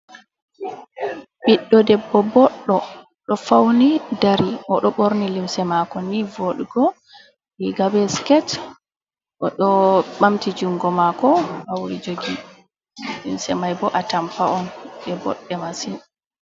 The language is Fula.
Ɓiɗɗo debbo boɗɗo ɗo fauni dari o do borni limse mako ni vodugo riga be skirt o ɗo ɓamti jungo mako hauri jogi, limse mai bo atampa on ɗe boɗɗe masin.